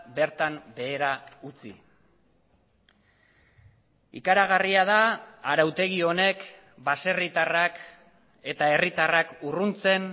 bertan behera utzi ikaragarria da arautegi honek baserritarrak eta herritarrak urruntzen